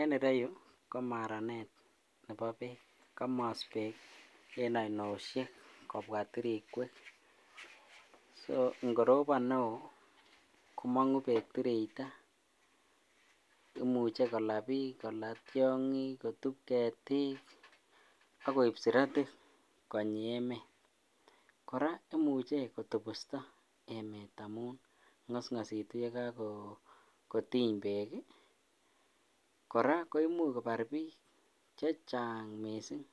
En ireyu ko maranet Nebo Beek, komos Beek en oinosiek kobwa tirikwek, so ng'orobon neo komong'u beek tirita, imuche kolaa biik, kolaa tiong'ik, kotub ketik akoib siratik konyi emet, kora imuche kotobusto emet amun ngosngositu yekokotiny beek, kora koimuch kobar biik chechang mising